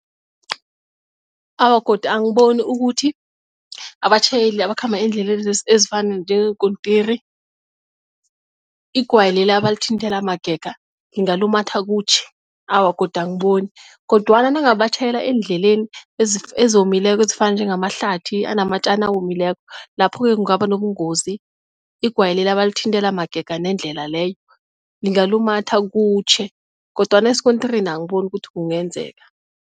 Awa, godu angiboni ukuthi abatjhayeli abakhamba eendleleni ezifana njengeenkontiri igwayi leli abalithinthela magega lingalumatha kutjhe, awa godu angiboni kodwana nangabe batjhayela endleleni ezomileko ezifana njengama hlabathi anamatjani awomileko lapho-ke kungaba nobungozi. Igwayi leli abalithintela magega nendlela leyo lingalumatha kutjhe kodwana esikontirini angiboni ukuthi kungenzeka.